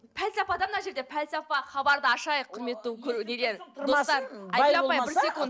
пәлсапа да мына жерде пәлсапа хабарды ашайық құрметті нелер достар айгүл апай бір секунд